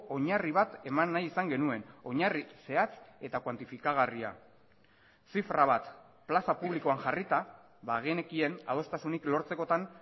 oinarri bat eman nahi izan genuen oinarri zehatz eta kuantifikagarria zifra bat plaza publikoan jarrita bagenekien adostasunik lortzekotan